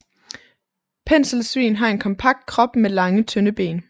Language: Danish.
Penselsvin har en kompakt krop med lange tynde ben